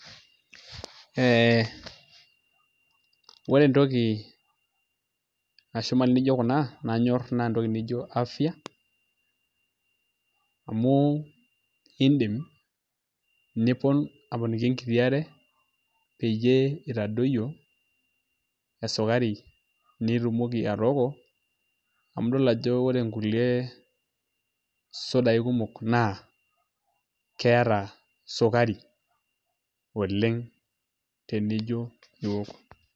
Ee ore entoki nashuma nijio kuna nanyorr naa entoki nijio afya amu iindim nipon aponiki enkiti are peyie itadoyio esukari nitumoki atooko amu idol ajo ore nkulie sudai kumok naa keeta sukari oleng' tenijo iwok.